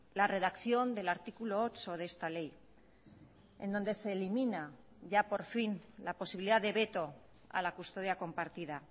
la redacción del artículo ocho de esta ley en donde se elimina ya por fin la posibilidad de veto a la custodia compartida